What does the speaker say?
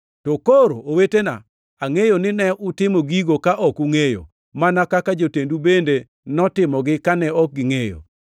“To koro, owetena, angʼeyo ni ne utimo gigo ka ok ungʼeyo, mana kaka jotendu bende notimogi kane ok gingʼeyo.